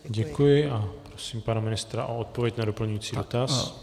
Děkuji a prosím pana ministra o odpověď na doplňující dotaz.